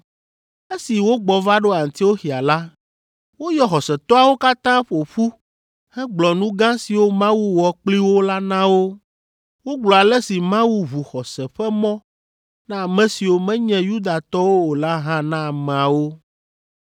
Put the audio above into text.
Esi wogbɔ va ɖo Antioxia la, woyɔ xɔsetɔawo katã ƒo ƒu hegblɔ nu gã siwo Mawu wɔ kpli wo la na wo. Wogblɔ ale si Mawu ʋu xɔse ƒe mɔ na ame siwo menye Yudatɔwo o la hã na ameawo.